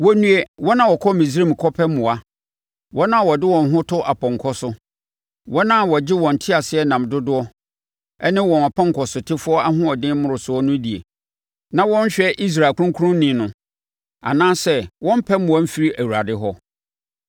Wɔnnue, wɔn a wɔkɔ Misraim kɔpɛ mmoa, wɔn a wɔde wɔn ho to apɔnkɔ so, wɔn a wɔgye wɔn nteaseɛnam dodoɔ ne wɔn apɔnkɔsotefoɔ ahoɔden mmorosoɔ no die, na wɔnhwɛ Israel Kronkronni no, anaasɛ wɔmmpɛ mmoa mfiri Awurade hɔ.